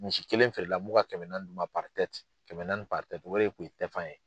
Misi kelen feerela ko ka kɛmɛ d'u ma kɛmɛ naani o de ye tun ye tɛfan ye.